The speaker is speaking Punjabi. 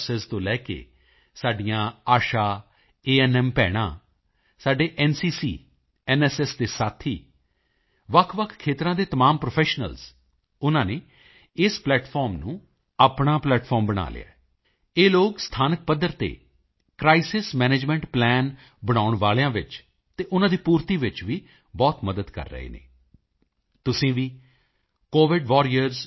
ਨਰਸ ਤੋਂ ਲੈ ਕੇ ਸਾਡੀਆਂ ਆਸ਼ਾ ਏਐਨਐਮ ਭੈਣਾਂ ਸਾਡੇ ਐਨਸੀਸੀ ਐਨਐਸਐਸ ਦੇ ਸਾਥੀ ਵੱਖਵੱਖ ਖੇਤਰਾਂ ਦੇ ਤਮਾਮ ਪ੍ਰੋਫੈਸ਼ਨਲਜ਼ ਉਨ੍ਹਾਂ ਨੇ ਇਸ ਪਲੈਟਫਾਰਮ ਨੂੰ ਆਪਣਾ ਪਲੈਟਫਾਰਮ ਬਣਾ ਲਿਆ ਹੈ ਇਹ ਲੋਕ ਸਥਾਨਕ ਪੱਧਰ ਤੇ ਕ੍ਰਾਈਸਿਸ ਮੈਨੇਜਮੈਂਟ ਪਲਾਨ ਬਣਾਉਣ ਵਾਲਿਆਂ ਵਿੱਚ ਅਤੇ ਉਨ੍ਹਾਂ ਦੀ ਪੂਰਤੀ ਵਿੱਚ ਵੀ ਬਹੁਤ ਮਦਦ ਕਰ ਰਹੇ ਹਨ ਤੁਸੀਂ ਵੀ covidwarriors